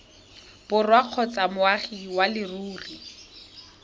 borwa kgotsa moagi wa leruri